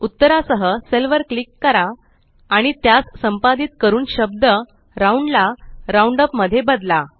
उत्तरासह cell वर click करा आणि त्यास संपादित करून शब्द राउंड ला राउंडअप मध्ये बदला